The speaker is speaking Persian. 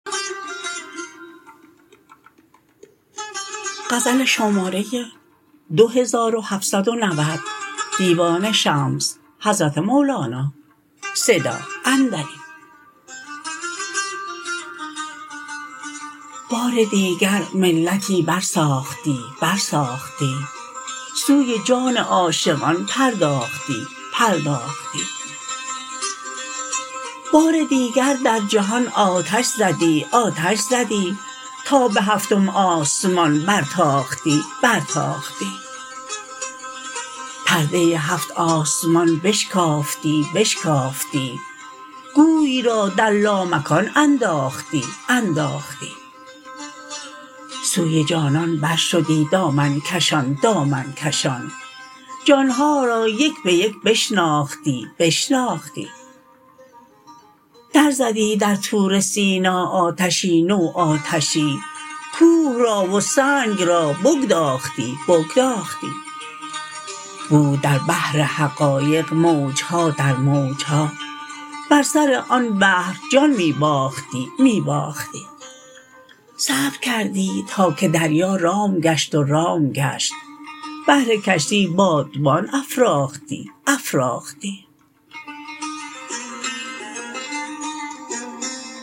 بار دیگر ملتی برساختی برساختی سوی جان عاشقان پرداختی پرداختی بار دیگر در جهان آتش زدی آتش زدی تا به هفتم آسمان برتاختی برتاختی پرده هفت آسمان بشکافتی بشکافتی گوی را در لامکان انداختی انداختی سوی جانان برشدی دامن کشان دامن کشان جان ها را یک به یک بشناختی بشناختی درزدی در طور سینا آتشی نو آتشی کوه را و سنگ را بگداختی بگداختی بود در بحر حقایق موج ها در موج ها بر سر آن بحر جان می باختی می باختی صبر کردی تا که دریا رام گشت و رام گشت بهر کشتی بادبان افراختی افراختی